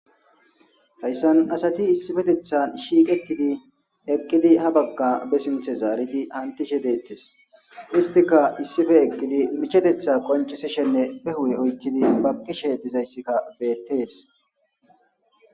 Hayssan asati issifetethan shiiqetidi eqqidi ha bagga be sinthe zaaridi hantishe deettes istika issife eqqidi michetetha qonchisishenne be hu'e oykkidi bakkishe dizayssikka beettees